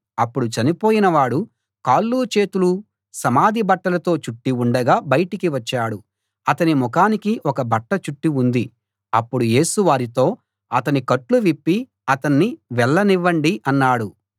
అప్పుడు చనిపోయినవాడు కాళ్ళు చేతులు సమాధి బట్టలతో చుట్టి ఉండగా బయటికి వచ్చాడు అతని ముఖానికి ఒక బట్ట చుట్టి ఉంది అప్పుడు యేసు వారితో అతని కట్లు విప్పి అతణ్ణి వెళ్ళనివ్వండి అన్నాడు